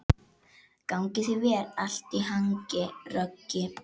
Gangi þér allt í haginn, Röggi.